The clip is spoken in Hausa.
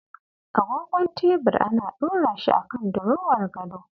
Agogon tebir ana ɗorashi akan dirowar gado.